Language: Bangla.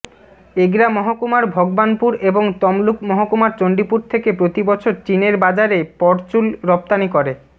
এগরা মহকুমার ভগবানপুর এবং তমলুক মহকুমার চণ্ডীপুর থেকে প্রতি বছর চিনের বাজারে পরচুল রফতনি করে